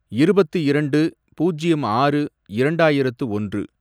இருபத்து இரண்டு, பூஜ்யம் ஆறு, இரண்டாயிரத்து ஒன்று